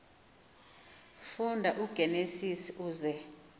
funda igenesis uze